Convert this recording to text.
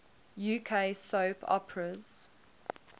uk soap operas